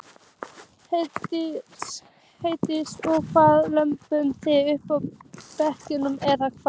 Herdís: Og hvað, löbbuðu þið upp brekkurnar eða hvað?